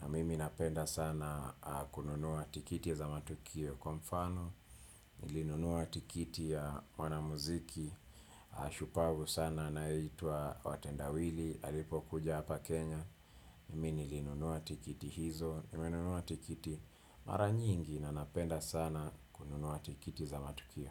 na mimi napenda sana kununua tikiti za matukio kwa mfano. Nilinunua tikiti ya mwanamuziki, shupavu sana anayeitwa Watendawili, alipo kuja hapa Kenya. Mimi nilinunua tikiti hizo, nimenunua tikiti mara nyingi na napenda sana kununua tikiti za matukio.